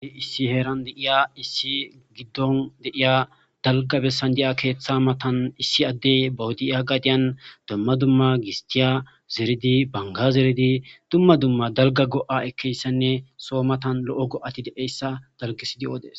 Issi heeran de'iya issi gidon de'iya dalgga bessan diya keetha matan issi addey baw diya gadiyan dumma dumma gistiya zeridi banga zeridi dumma dumma dalgga go'a ekiyaysanne soo matan lo'o go'ati de'iyayssa dalggisidi odes.